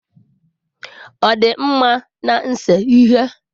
Ọ dị mma n'ise ihe?